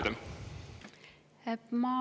Teie aeg!